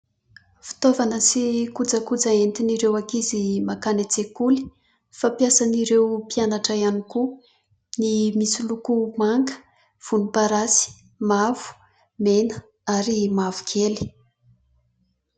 Fitaovana sy kojakoja hoentin'ireo ankizy mankany an-tsekoly, fampiasan' ireo mpianatra ihany koa. Ny misy loko manga, volomparasy, mavo, mena, ary mavokely.